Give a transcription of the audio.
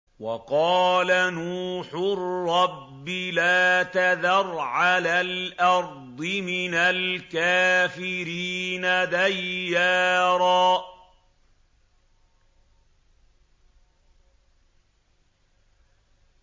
وَقَالَ نُوحٌ رَّبِّ لَا تَذَرْ عَلَى الْأَرْضِ مِنَ الْكَافِرِينَ دَيَّارًا